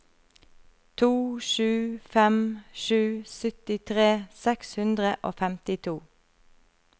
to sju fem sju syttitre seks hundre og femtito